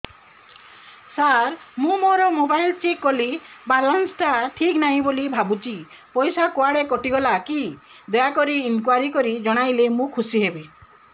ସାର ମୁଁ ମୋର mobile check କଲି ବାଲାନ୍ସ ଟା ଠିକ ନାହିଁ ବୋଲି ଭାବୁଛି ପଇସା କୁଆଡେ କଟି ଗଲା କି ଦୟାକରି ଇନକ୍ୱାରି କରି ଜଣାଇଲେ ମୁଁ ଖୁସି ହେବି